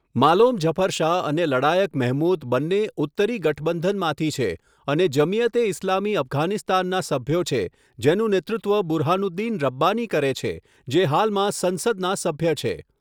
માલોમ ઝફર શાહ અને લડાયક મેહમૂદ બંને 'ઉત્તરી ગઠબંધન' માંથી છે અને જમિયત એ ઇસ્લામી અફઘાનિસ્તાનનાં સભ્યો છે, જેનું નેતૃત્વ બુરહાનુદ્દીન રબ્બાની કરે છે, જે હાલમાં સંસદના સભ્ય છે.